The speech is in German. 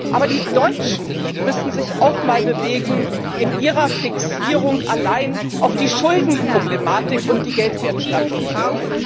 Aber die Deutschen müssen sich auch mal bewegen in ihrer Fixierung allein auf die Schuldenproblematik und die Geldwertstabilität.